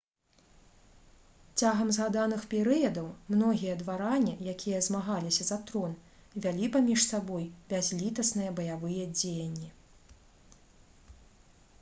цягам згаданых перыядаў многія дваране якія змагаліся за трон вялі паміж сабой бязлітасныя баявыя дзеянні